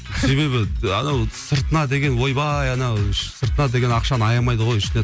себебі анау сыртына деген ойбай ана іші сыртына деген ақшаны аямайды ғой